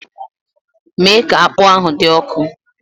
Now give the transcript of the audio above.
Mee ka akpu ahụ dị ọkụ!